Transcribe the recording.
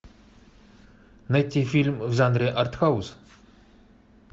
найти фильм в жанре арт хаус